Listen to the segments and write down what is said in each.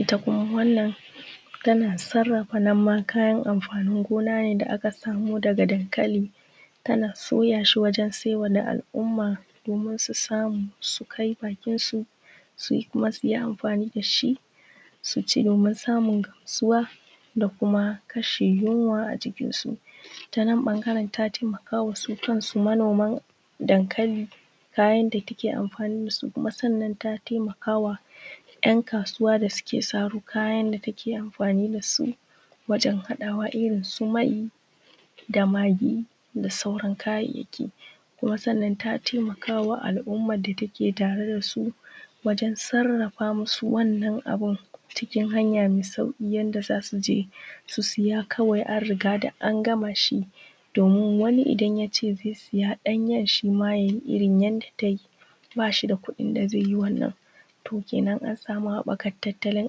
Ita kuma wannan tana sarrafa a nan ma kayan amfanin gona ne da aka samu daga dankali tana soya shi wajen sayarwa al'umma domin su samu su kai bakinsu su yi amfani da shi domin samun gamsuwa da kuma kashe yinwa a jikinsu. Ta nan ɓangaren ta taimaka su kansu manoman dankali ta yadda take amfani sannan ta taimakawa 'yan kasuwa da suke saro kayan da suke sayarwa take amfani da su wajen haɗawa irinsu mai da magi da sauran kayayyaki. Kuma sannan ta taimakwa al'umma da suke tare da su wajen sarrafa musu wannan abun cikin hanya mai sauƙi yadda za su je su saya an riga da an gama shi. Domin wani idan ya ce zai saya ɗanyen ya dafa shi yadda take ba shi da kuɗin zai yi wannan, kenan an sama haɓakar tattalin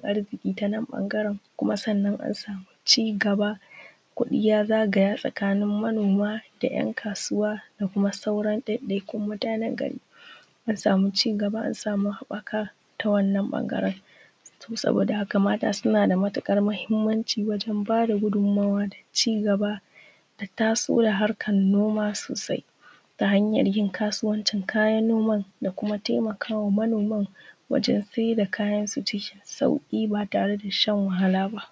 arziƙi ta nan bangaren kuma an ssma ci gaba kuɗi ya zagaya tsakanin manoma da yan kasuwa da sauran ɗaiɗaikun mutanen gari an sama ci gaba ta nan ɓangaren. to saboda haka mata suna da matuƙar wannan mahimmanci domin ba da gudummawa domin ci gaba da taso da harkar noma sosai ta hanyar yin kasuwancin kayan noma da kuma taimakawa manoman waje sayar da kayan su cikin sauƙi ba tare da shan wahala ba.